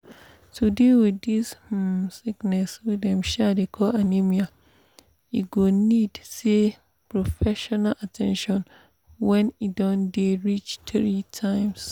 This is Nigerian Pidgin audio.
to deal wit this um sickness wey dem um dey call anemia e go need um professional at ten tion when e don dey reach three times